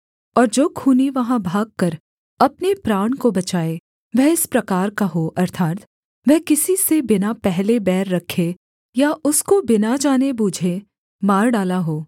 और जो खूनी वहाँ भागकर अपने प्राण को बचाए वह इस प्रकार का हो अर्थात् वह किसी से बिना पहले बैर रखे या उसको बिना जाने बूझे मार डाला हो